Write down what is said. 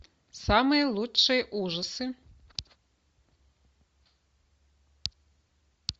самые лучшие ужасы